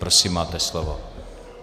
Prosím, máte slovo.